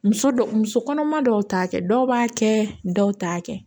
Muso dɔw muso kɔnɔma dɔw t'a kɛ dɔw b'a kɛ dɔw t'a kɛ